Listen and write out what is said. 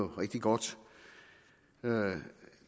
rigtig godt